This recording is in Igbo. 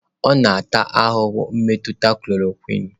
Ọ na-ata ahụhụ mmetụta chloroquine.